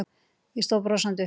Ég stóð brosandi upp.